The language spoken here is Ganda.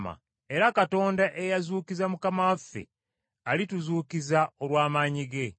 Era Katonda eyazuukiza Mukama waffe alituzuukiza olw’amaanyi ge.